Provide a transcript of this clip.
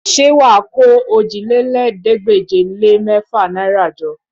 Ṣé wà á kó òjìlélẹ́ẹ̀ẹ́dégbèje-lé-mẹ́fà náìrà jọ?